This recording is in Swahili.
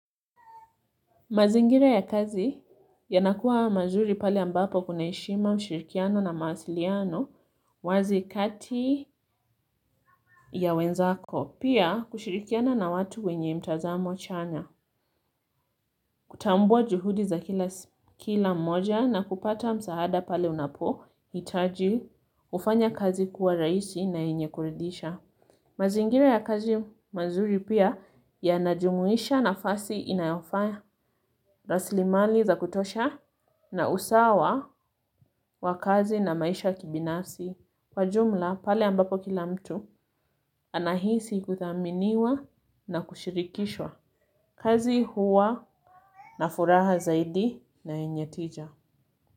Mazingira ya kazi yanakuwa mazuri pale ambapo kuna heshima, ushirikiano na mawasiliano, wazi kati ya wenzako. Pia kushirikiana na watu wenye mtazamo chanya. Kutambua juhudi za kila mmoja na kupata msaada pale unapohitaji, hufanya kazi kuwa rahisi na yenye kuridhisha. Mazingira ya kazi mazuri pia, yanajumuisha nafasi inayofanya rasilimali za kutosha na usawa wa kazi na maisha kibinafsi. Kwa jumla, pale ambapo kila mtu anahisi kuthaminiwa na kushirikishwa. Kazi huwa na furaha zaidi na yenye tija.